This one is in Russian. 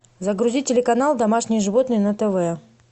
загрузи телеканал домашние животные на тв